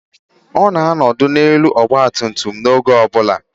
Ọ na-anọdụ n'elu ọgba tum tum m oge ọ bụla.